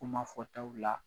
Kuma fɔtaw la